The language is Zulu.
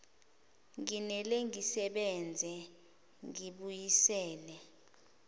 nginele ngisebenze ngibabuyisele